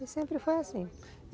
E sempre foi assim.